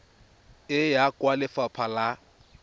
e ya kwa lefapha la